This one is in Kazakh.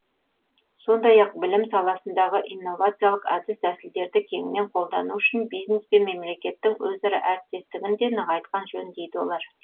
сондай ақ білім саласындағы инновациялық әдіс тәсілдерді кеңінен қолдану үшін бизнес пен мемлекеттің өзара әріптестігін де нығайтқан жөн дейді олар